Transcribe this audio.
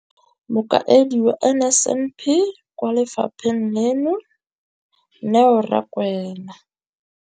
Mokaedi wa NSNP kwa lefapheng leno, Neo Rakwena,